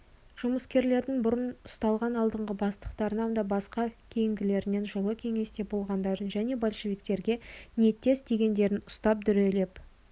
жұмыскерлердің бұрын ұсталған алдыңғы бастықтарынан басқа кейінгілерінен жылы кеңесте болғандарын және большевиктерге ниеттес дегендерін ұстап дүрелеп